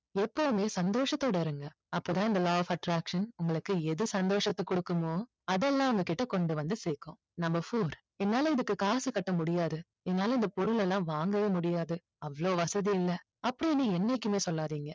எப்போதுமே சந்தோஷத்தோட இருங்க அப்போ தான் இந்த law of attraction உங்களுக்கு எது சந்தோஷத்தை கொடுக்குமோ அதெல்லாம் உங்க கிட்ட கொண்டு வந்து சேர்க்கும் number four என்னால இதுக்கு காசு கட்ட முடியாது என்னால இந்த பொருள் எல்லாம் வாங்கவே முடியாது அவ்ளோ வசதி இல்ல அப்படின்னு என்னைக்குமே சொல்லாதீங்க